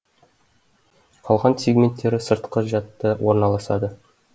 қалған сегменттері сыртқы жадта орналасады